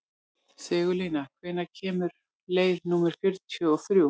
Sigurlína, hvenær kemur leið númer fjörutíu og þrjú?